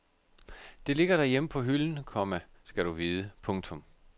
Det ligger derhjemme på hylden, komma skal du vide. punktum